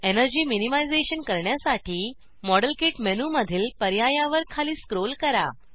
energy minimization करण्यासाठी160 model kit मेनूमधील पर्यायावर खाली स्क्रोल करा